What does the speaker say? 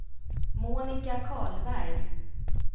Monica Karlberg